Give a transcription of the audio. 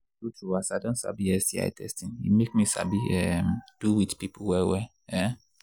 true true as i don sabi sti testing e make me sabi um do with people well well um